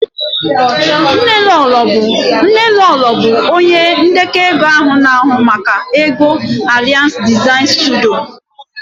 Nnelolo bụ onye ndekọ ego na-ahụ maka ego Aries Design Studio